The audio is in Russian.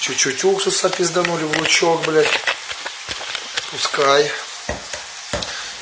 чуть-чуть уксуса пизданули лучок блять пускай